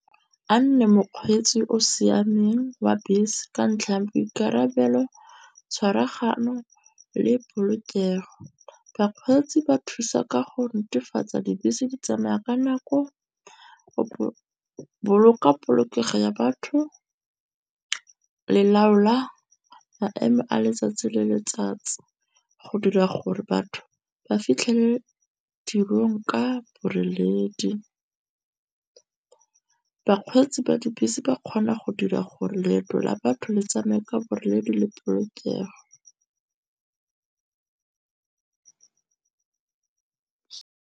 A nne mokgweetsi o siameng wa bese ka ntlha ya boikarabelo, tshwaragano le polokego. Bakgweetsi ba thusa ka go netefatsa dibese di tsamaya ka nako. O boloka polokego ya batho le laola maemo a letsatsi le letsatsi, go dira gore batho ba fitlhe tirong ka boreledi. Bakgweetsi ba dibese ba kgona go dira gore leeto la batho le tsameka boreledi le polokego .